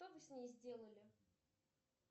что вы с ней сделали